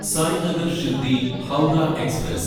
Sai Nagar Shirdi Howrah express